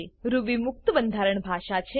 Ruby મુક્ત બંધારણ ભાષા છે